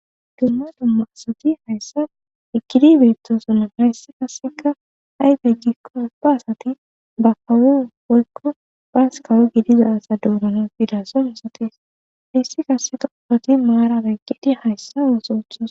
Gamma dumma asati hayssa ekidi beettosona hayssi kasseka hayfe jikko ba asati ba kawo hoykko baas kawo gidiza asa dounana fida so misatis hiyssi kase toopati maara beyqgedi hayssa uusowuthus.